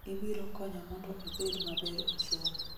ibiro konya mondo abed maber e somo